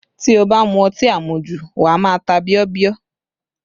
Tí o bá mu ọtí amuju, wà á má a ta bíọ́bíọ́